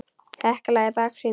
Hekla í baksýn.